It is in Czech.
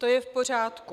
To je v pořádku.